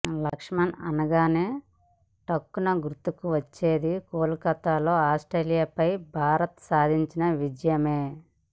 లక్ష్మణ్ అనగానే ఠక్కున గుర్తుకు వచ్చేది కోల్ కత్తా లో ఆస్ట్రేలియా పై భారత్ సాధించిన విజయమే